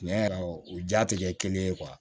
Tiɲɛ yɛrɛ o ja tɛ kɛ kelen ye